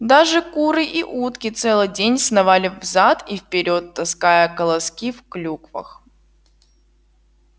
даже куры и утки целый день сновали взад и вперёд таская колоски в клюквах